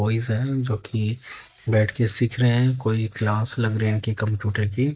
boys हैकि बैठ के सीख रहे हैं कोई क्लास लग रहे उनकी हैं कि कंप्यूटर की--